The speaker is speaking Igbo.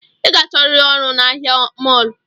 I ga achọriri ọrụ na ahịa mọlụ